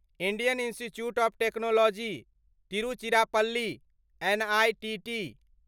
national Institute of Technology Tiruchirappalli NITT